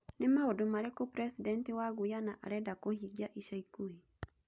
Nĩ maũndũ marĩkũ President wa Guyana areda kũhingia ica ikuhĩ?